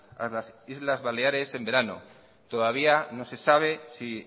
a las islas baleares en verano todavía no se sabe si